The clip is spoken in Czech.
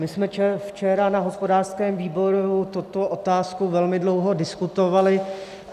My jsme včera na hospodářském výboru tuto otázku velmi dlouho diskutovali.